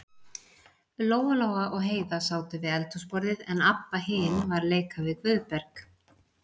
Lóa-Lóa og Heiða sátu við eldhúsborðið, en Abba hin var að leika við Guðberg.